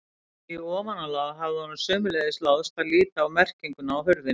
Í ofanálag hafði honum sömuleiðis láðst að líta á merkinguna á hurðinni.